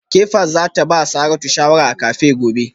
Kefas za ta ba Saratu shawara a cafe gobe